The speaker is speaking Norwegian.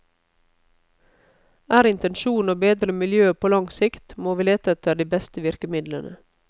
Er intensjonen å bedre miljøet på lang sikt, må vi lete etter de beste virkemidlene.